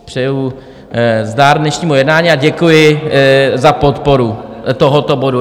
Přeji zdar dnešnímu jednání a děkuji za podporu tohoto bodu.